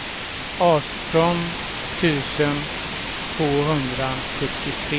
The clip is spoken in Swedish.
arton tusen tvåhundrasjuttiotre